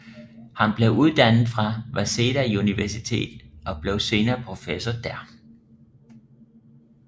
Han blev uddannet ved Waseda Universitetet og blev senere professor der